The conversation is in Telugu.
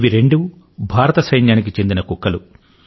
ఇవి రెండూ భారత సైన్యానికి చెందిన కుక్కలు